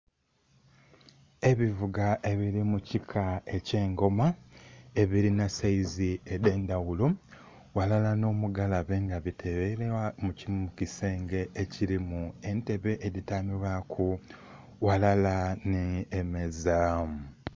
Ebivuga ebili mu kika eky'engoma ebilina saizi edh'endhaghulo, ghalala nh'omugalabe nga biteleibwa mu kisenge ekilimu entebe edhityamibwaku ghalala nhi emeeza.